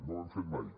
no ho hem fet mai